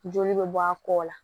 Joli bɛ bɔ a kɔ la